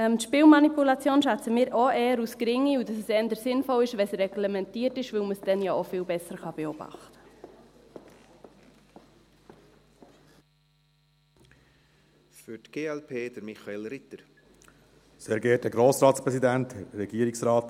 Die Spielmanipulation schätzen wir auch eher als gering ein und auch, dass es eher sinnvoll ist, wenn es reglementiert ist, weil man es dann ja auch viel besser beobachten kann.